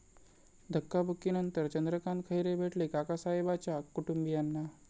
धक्काबुक्कीनंतर चंद्रकांत खैरे भेटले काकासाहेबाच्या कुटुंबियांना!